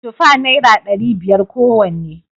Tufa naira dari biyar kowanne